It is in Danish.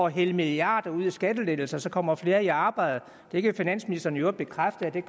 hælde milliarder ud i skattelettelser kommer flere i arbejde det kan finansministeren i øvrigt bekræfte at der